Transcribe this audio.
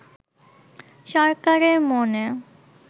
সরকারের মনে